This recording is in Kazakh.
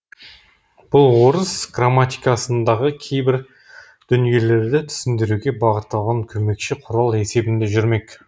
бұл орыс грамматикасындағы кейбір дүниелерді түсіндіруге бағытталған көмекші құрал есебінде жүрмек